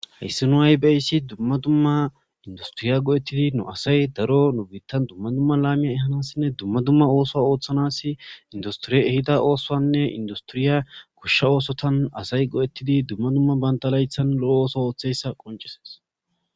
heyssi nu aybaysi dumma dumma industiriya go7ettidi nu asay daro nubittan dumma dumma laamiya ehanassinne dumma dumma ooso ooththanas industriye ehida oosoanne industiriya kushsha oosotan asay go7ettidi dumma dumma banda laythan lo7o ooso ooththeyssa qoncisees